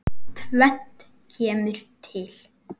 Tvennt kemur til.